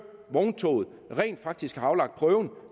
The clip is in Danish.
vogntoget rent faktisk har aflagt prøve